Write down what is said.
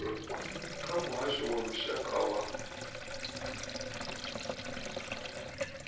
kha muhasho wa lushaka wa